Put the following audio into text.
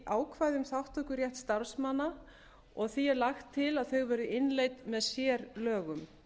um þátttökurétt starfsmanna og því er lagt til að þau verði innleidd með sérlögum